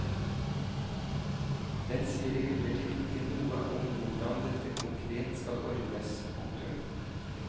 Den sier imidlertid ikke noe om hvordan dette konkret skal ordnes. punktum